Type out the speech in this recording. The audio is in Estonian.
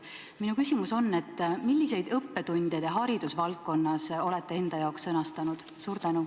Minu küsimus on: milliseid õppetunde te haridusvaldkonnas olete enda jaoks sõnastanud?